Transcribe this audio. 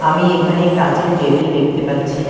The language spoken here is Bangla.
আমি এখানে কাঁচের টেবিল দেখতে পাচ্ছি।